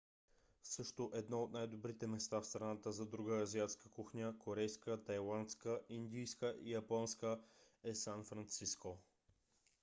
също едно от най-добрите места в страната за друга азиатска кухня - корейска тайландска индийска и японска - е сан франциско